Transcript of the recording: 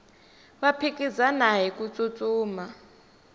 va phikizana hiku tsutsuma